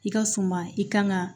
I ka suma i kan ka